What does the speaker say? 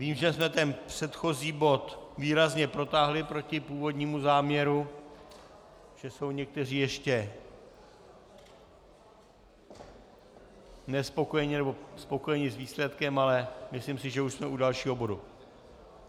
Vím, že jsme ten předchozí bod výrazně protáhli proti původnímu záměru, že jsou někteří ještě nespokojeni nebo spokojeni s výsledkem, ale myslím si, že už jsme u dalšího bodu.